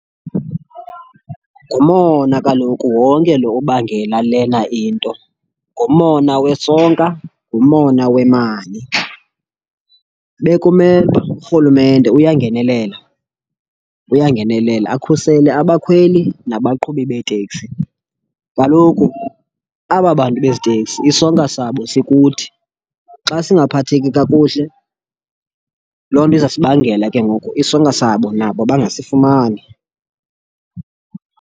Ngumona kaloku wonke lo ubangela lena into. Ngumona wesonka, ngumona wemali. Bekumele uba urhulumente uyangenelela, uyangenelela akhusele abakhweli nabaqhubi beeteksi. Kaloku aba bantu bezi teksi isonka sabo sikuthi. Xa singaphatheki kakuhle, loo nto iza sibangela ke ngoku isonka sabo nabo bangasifumani.